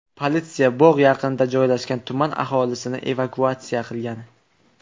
Politsiya bog‘ yaqinida joylashgan tuman aholisini evakuatsiya qilgan.